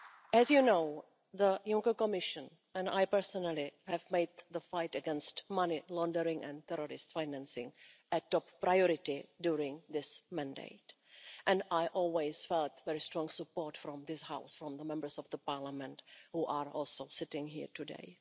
As you know, the Juncker Commission and I personally have made the fight against money laundering and terrorist financing a top priority during this mandate, and I always felt very strong support from this House, from the Members of Parliament who are also sitting here today.